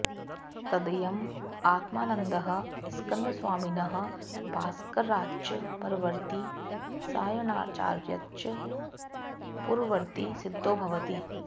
तदयम् आत्मानन्दः स्कन्दस्वामिनः भास्कराच्च परवर्ती सायणाचार्याच्च पूर्ववर्ती सिद्धो भवति